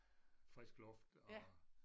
Frisk luft og